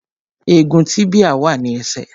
Egun tíbíà wà ní ẹsẹ̀